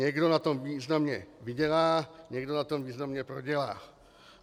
Někdo na tom významně vydělá, někdo na tom významně prodělá.